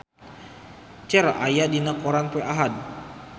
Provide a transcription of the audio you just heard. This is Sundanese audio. Cher aya dina koran poe Ahad